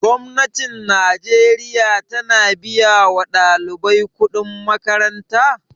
Gwamnatin najeriya ta na biya wa ɗalibai kuɗin makaranta?